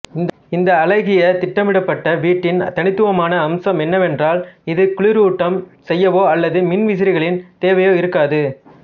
இந்த அழகிய திட்டமிடப்பட்ட வீட்டின் தனித்துவமான அம்சம் என்னவென்றால் இது குளுரூட்டம் செய்யவோ அல்லது மின்விசிறிகளின் தேவையோ இருக்காது